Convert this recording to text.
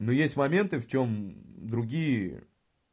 но есть моменты в чём другие